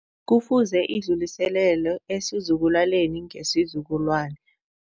Kufuze idluliselelwe esizukulwaneni ngesizukulwane.